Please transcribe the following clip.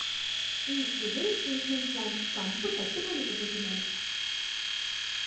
ఈ sewage treatment plant కంపు తట్టుకోలేకపోతున్నాను.